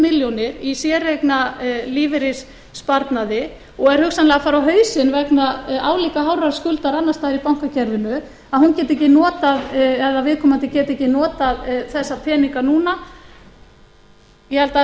milljónir í séreignarlífeyrissparnaði og er hugsanlega að fara á hausinn vegna álíka hárra skuldar annars staðar í bankakerfinu að hún geti ekki notað eða viðkomandi geti ekki notað þessa peninga núna ég held að það